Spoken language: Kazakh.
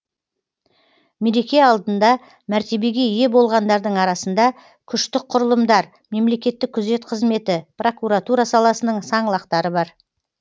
мереке алдында мәртебеге ие болғандардың арасында күштік құрылымдар мемлекеттік күзет қызметі прокуратура саласының саңлақтары бар